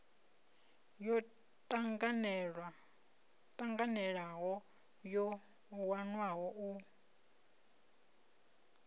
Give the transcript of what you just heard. yo tanganelaho yo wanwaho u